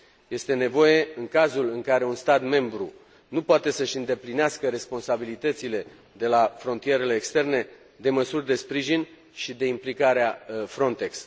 Este nevoie, în cazul în care un stat membru nu poate să își îndeplinească responsabilitățile de la frontierele externe, de măsuri de sprijin și de implicarea Frontex.